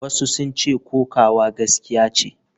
Wasu sun ce kokawa gaskiya ce.